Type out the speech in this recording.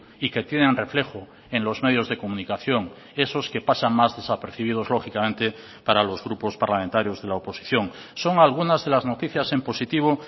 y que tienen reflejo en los medios de comunicación esos que pasan más desapercibidos lógicamente para los grupos parlamentarios de la oposición son algunas de las noticias en positivo